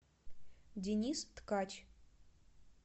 денис ткач